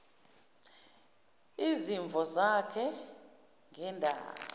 izimvo zakhe ngendaba